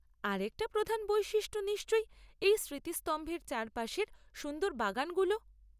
আরেকটা প্রধান বৈশিষ্ট্য নিশ্চয়ই এই স্মৃতিস্তম্ভের চারপাশের সুন্দর বাগানগুলো।